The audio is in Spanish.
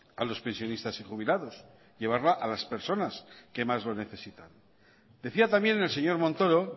a los pensionistas y jubilados llevarla a las personas que más lo necesitan decía también el señor montoro